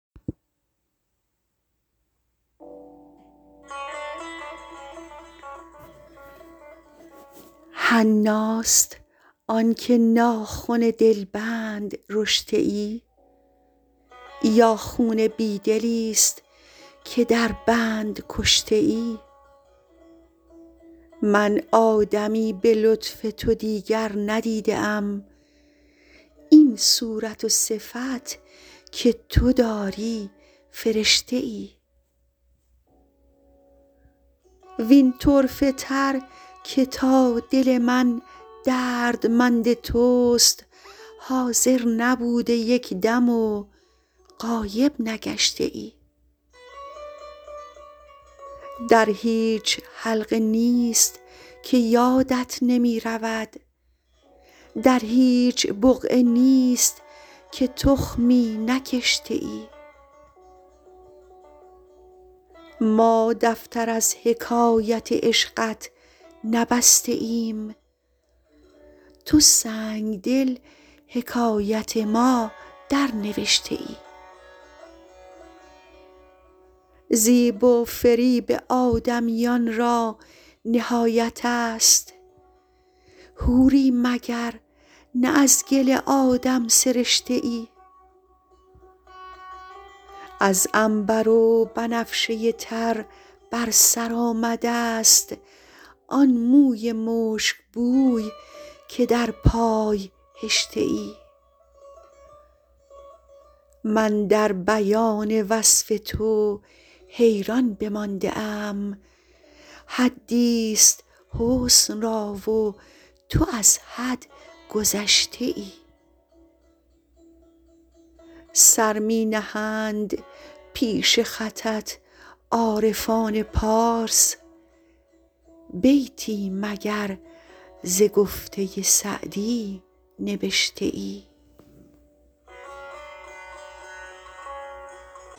حناست آن که ناخن دلبند رشته ای یا خون بی دلیست که در بند کشته ای من آدمی به لطف تو دیگر ندیده ام این صورت و صفت که تو داری فرشته ای وین طرفه تر که تا دل من دردمند توست حاضر نبوده یک دم و غایب نگشته ای در هیچ حلقه نیست که یادت نمی رود در هیچ بقعه نیست که تخمی نکشته ای ما دفتر از حکایت عشقت نبسته ایم تو سنگدل حکایت ما درنوشته ای زیب و فریب آدمیان را نهایت است حوری مگر نه از گل آدم سرشته ای از عنبر و بنفشه تر بر سر آمده ست آن موی مشکبوی که در پای هشته ای من در بیان وصف تو حیران بمانده ام حدیست حسن را و تو از حد گذشته ای سر می نهند پیش خطت عارفان پارس بیتی مگر ز گفته سعدی نبشته ای